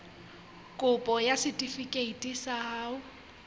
kopo ya setefikeiti sa ho